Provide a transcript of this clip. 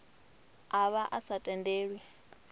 a vha a sa tendelwi